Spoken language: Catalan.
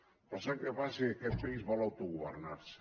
però sap què passa que aquest país vol autogovernar se